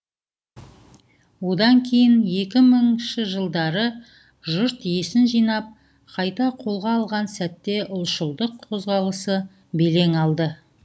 одан кейін екі мыңыншы жылдары жұрт есін жинап қайта қолға алған сәтте ұлшылдық қозғалысы белең алды